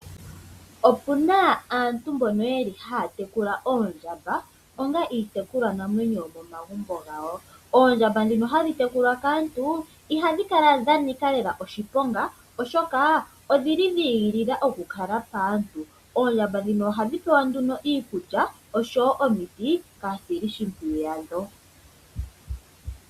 Opu na aantu mboka haya tekula oondjamba onga iitekulwanamwenyo yomomagumbo gawo. Oondjamba ndhika hadhi tekulwa kaantu ihadhi kala dha nika lela oshiponga, oshoka dha igilila okukala paantu. Oondjamba ndhika ohadhi pewa nduno iikulya noshowo omiti kaasilishimpwiyu yadho.